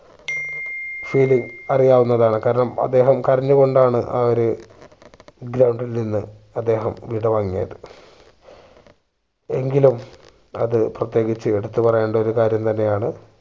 feeling അറിയാവുന്നതാണ് കാരണം അദ്ദേഹം കരഞ്ഞു കൊണ്ടാണ് ആ ഒരു ground ൽ നിന്നും അദ്ദേഹം വിടവാങ്ങിയത് എങ്കിലും അത് പ്രതേകിച്ച് എടുത്തു പറയേണ്ട ഒരു കാര്യം തന്നെ ആണ്